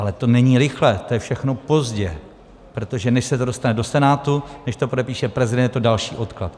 Ale to není rychle, to je všechno pozdě, protože než se to dostane do Senátu, než to podepíše prezident, je to další odklad.